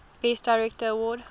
best director award